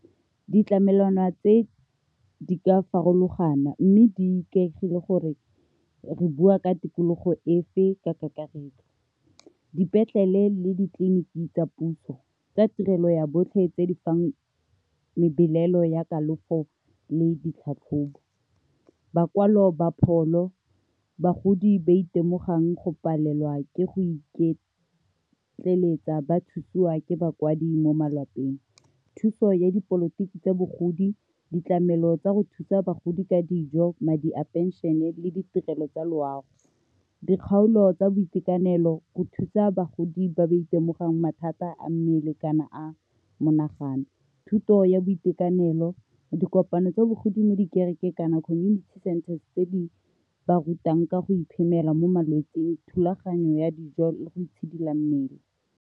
Ditlamelwana tse di ka farologana mme di ikaegile gore re bua ka tikologo efe ka kakaretso. Dipetlele le ditleliniki tsa puso tsa tirelo ya botlhe tse di fang melelo ya kalafo le ditlhatlhobo bakwalo ba pholo, bagodi ba itemogelang go palelwa ke go iketleletsa ba thusiwa ke bakwadi mo malapeng. Thuso ya dipolotiki tsa bogodi, ditlamelo tsa go thusa bagodi ka dijo, madi a pension-e, le ditirelo tsa loago dikgaolo tsa boitekanelo go thusa bagodi ba ka itemogelang mathata a mmele kana a monagano, thuto ya boitekanelo, dikopano tsa bogodi mo di kerekeng , kana community centres tse di ba rutang ka go iphemela mo malwetsing, thulaganyo ya dijo le go itshidila mmele.